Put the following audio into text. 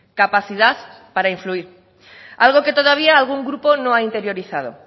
capacidad para influir algo que todavía algún grupo no ha interiorizado